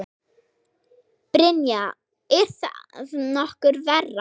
Brynja: Er það nokkuð verra?